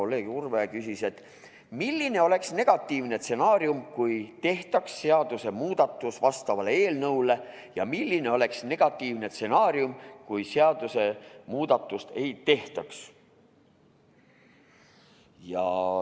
Kolleeg Urve küsis, milline oleks negatiivne stsenaarium, kui tehtaks seadusemuudatus vastavalt eelnõule, ja milline oleks negatiivne stsenaarium, kui seadusemuudatust ei tehtaks.